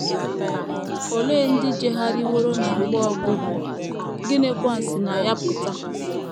Ole ndị ‘ jegharịworo ’ na mgbe ọgwụgwụ, gịnịkwa si na ya pụta?